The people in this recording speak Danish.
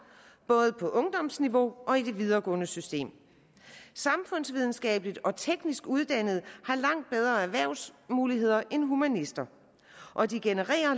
både på ungdomsniveau og i det videregående system samfundsvidenskabeligt og teknisk uddannede har langt bedre erhvervsmuligheder end humanister og de genererer